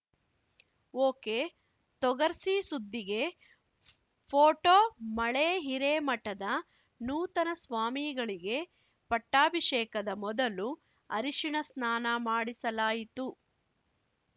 ಒಕೆತೊಗರ್ಸಿ ಸುದ್ದಿಗೆ ಫೋಟೊ ಮಳೇ ಹಿರೇಮಠದ ನೂತನ ಸ್ವಾಮಿಗಳಿಗೆ ಪಟ್ಟಾಭಿಷೇಕದ ಮೊದಲು ಅರಿಷಿಣ ಸ್ನಾನ ಮಾಡಿಸಲಾಯಿತು